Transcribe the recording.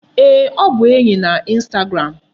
Ee, ọ bụ enyi na instagram.